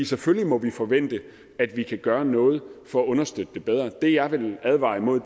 selvfølgelig må vi forvente at vi kan gøre noget for at understøtte det bedre det jeg vil advare imod